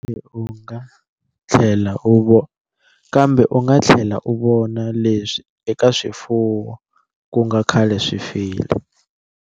Kambe u nga tlhela u vona leswi eka swifuwo ku nga khale swi file.